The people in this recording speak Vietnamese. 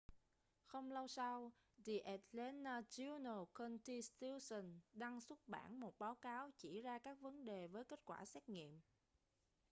không lâu sau the atlanta journal-constitution đăng xuất bản một báo cáo chỉ ra các vấn đề với kết quả xét nghiệm